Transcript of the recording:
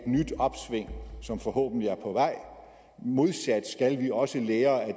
nyt opsving som forhåbentlig er på vej modsat skal vi også lære